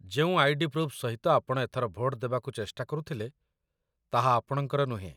ଯେଉଁ ID. Proof ସହିତ ଆପଣ ଏଥର ଭୋଟ ଦେବାକୁ ଚେଷ୍ଟା କରୁଥିଲେ, ତାହା ଆପଣଙ୍କର ନୁହେଁ